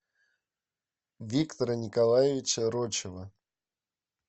виктора николаевича рочева